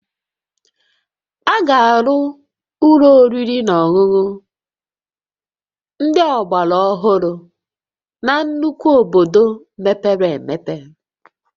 A ga-arụ ụlọ oriri na ọṅụṅụ ndị ọgbara ohụrụ na nnukwu obodo mepere emepe